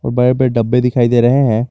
बड़े बड़े डब्बे दिखाई दे रहे हैं।